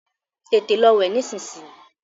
Tètè Lọ wẹ̀ nisinyi!